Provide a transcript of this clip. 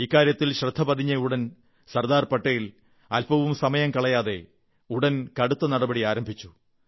ഇക്കാര്യത്തിൽ ശ്രദ്ധ പതിഞ്ഞയുടൻ സർദാർ പട്ടേൽ അല്പവും സമയം കളയാതെ ഉടൻ കടുത്ത നടപടി ആരംഭിച്ചു